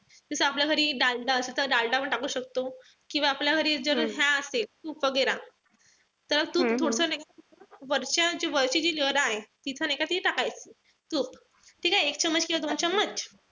जस आपल्या घरी डालडा पण टाकू शकतो. किंवा आपल्या घरी तूप वगैरे त तो थोडासा वरच्या वरची जी layer आहे. तिथं नाई का ती टाकायची. तूप. ठीकेय? एक किंवा दोन .